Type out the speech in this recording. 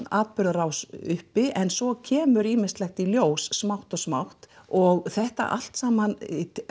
atburðarás uppi en svo kemur ýmislegt í ljós smátt og smátt og þetta allt saman